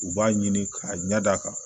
U b'a ɲini k'a ɲɛ d'a kan